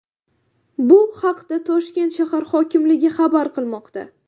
Bu haqda Toshkent shahar hokimligi xabar qilmoqda .